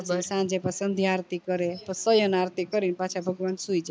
સાંજે એક વાર સંધ્યા આરતી કરે તો સોયન આરતી કરવી પાછા ભગવાન સુઈ જાય